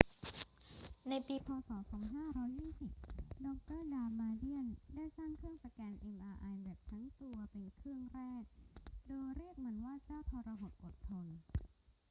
ในปี พ. ศ. 2520 ดร ดามาเดียนได้สร้างเครื่องสแกน mri แบบ ทั้งตัว เป็นเครื่องแรก โดยเรียกมันว่า เจ้าทรหดอดทน